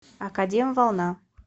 академ волна